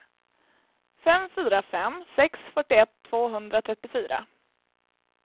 fem fyra fem sex fyrtioett tvåhundratrettiofyra